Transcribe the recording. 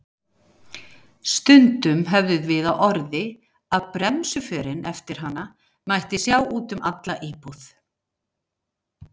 Stundum höfðum við á orði að bremsuförin eftir hana mætti sjá út um alla íbúð.